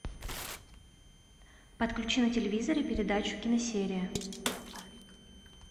подключи на телевизоре передачу киносерия